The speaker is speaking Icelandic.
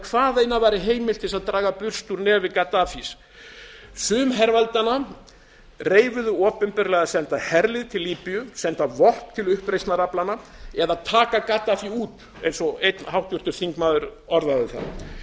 hvaðeina væri heimilt til að draga burst úr nefi gaddafís sum herveldanna reifuðu opinberlega að senda herlið til líbíu senda vopn til uppreisnaraflanna eða taka gaddafí út eins og einn háttvirtur þingmaður orðaði það